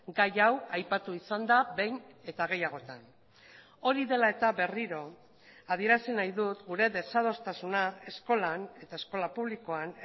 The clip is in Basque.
gai hau aipatu izan da behin eta gehiagotan hori dela eta berriro adierazi nahi dut gure desadostasuna eskolan eta eskola publikoan